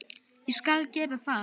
Ég skal gera það.